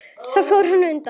Fór hann þá undan.